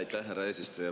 Aitäh, härra eesistuja!